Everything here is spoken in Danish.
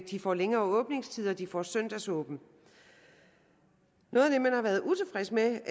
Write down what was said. de får længere åbningstider at de får søndagsåbent noget af det man har været utilfreds med